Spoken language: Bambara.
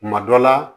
Kuma dɔ la